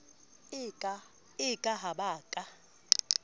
e ka ha ba ka